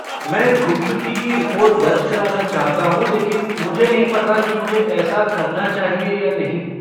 मैं गुमशुदगी की रिपोर्ट दर्ज कराना चाहता हूँ लेकिन मुझे नहीं पता कि मुझे ऐसा करना चाहिए या नहीं।